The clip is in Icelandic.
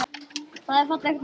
Það er fallegt nafn.